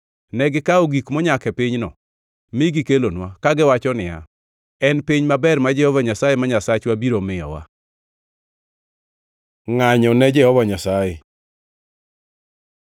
Negikawo gik monyak e pinyno, mi gikelonwa, kagiwacho niya, “En piny maber ma Jehova Nyasaye ma Nyasachwa biro miyowa.” Ngʼanyo ne Jehova Nyasaye